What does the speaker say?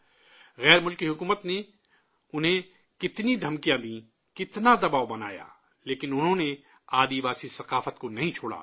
غیر ملکی حکومت نے انہیں کتنی دھمکیاں دیں، کتنا دباؤ بنایا، لیکن انہوں نے آدیواسی ثقافت کو نہیں چھوڑا